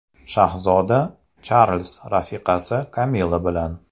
Shahzoda Charlz rafiqasi Kamilla bilan.